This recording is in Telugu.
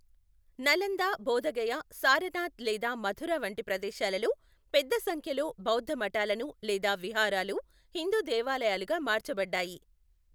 నలంద, బోధగయ, సారనాథ్ లేదా మథుర వంటి ప్రదేశాలలో పెద్ద సంఖ్యలో బౌద్ధ మఠాలను లేదా విహారాలు హిందూ దేవాలయాలుగా మార్చబడ్డాయి.